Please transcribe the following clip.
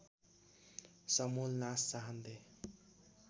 समूल नास चाहन्थे